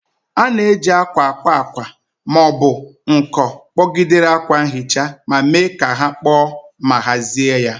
A na-eji akwa akwa akwa ma ọ bụ nko kpọgidere akwa nhicha ma mee ka ha kpoo ma hazie ya.